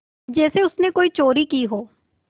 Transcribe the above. जैसे उसने कोई चोरी की हो